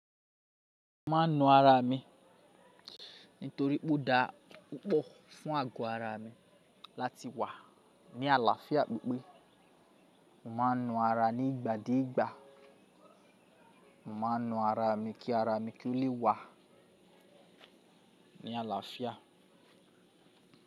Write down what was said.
Mo ma ń nu ara mi nítorí pó da púpọ̀ fún ago ara mi láti wà ní àlàáfíà pípé. Mo ma ń nu ara ní ìgbà de ìgbà. Mo ma ń nu ara mi kí ara mi ki ó lè wà ní àlàáfíà.